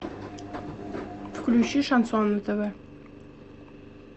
включи шансон на тв